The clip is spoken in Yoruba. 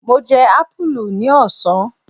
Mo jẹ apulu ní ọ̀sán.